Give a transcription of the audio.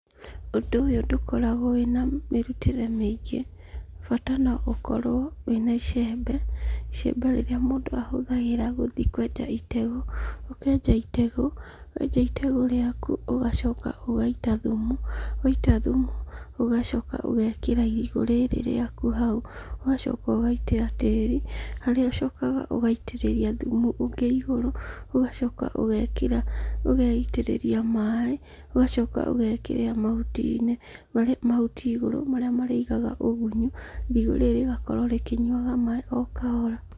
Ũndũ ũyũ ndũkoragwo wĩna mũrutĩre mĩingĩ, bata no gukorwo wĩna icembe, icembe rĩrĩa mũndũ ahũthagĩra gũthiĩ kwenja itegũ. Ũkenja itegũ, wenja itegũ rĩaku ũgacoka ũgaita thumu, waita thumu ũgacoka ũgekĩra irigũ rĩrĩ rĩaku hau, ũgacoka ũgaita tĩri, harĩa ũcokaga ũgaitĩrĩria thumu ũngĩ igũrũ, ũgacoka ũgaitĩrĩria maaĩ, ũgacoka ũgekĩra mahuti igũrũ, marĩa marĩigaga ũgunyu, irigũ rĩrĩ rĩgakorwo rĩkĩnyuaga maaĩ okahora.